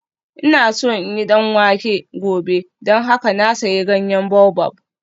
Ina so in yi danwake gobe don haka na sayi ganyen baobab